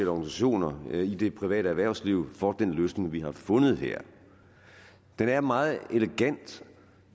organisationer i det private erhvervsliv for den løsning vi har fundet her den er meget elegant